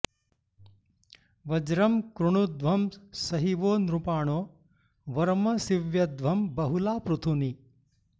व्र॒जं कृ॑णुध्वं॒ स हि वो॑ नृ॒पाणो॒ वर्म॑ सीव्यध्वं बहु॒ला पृ॒थूनि॑